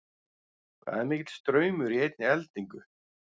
Hvað er mikill straumur í einni eldingu?